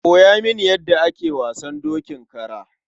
Koya mini yadda ake wasan dokin kara.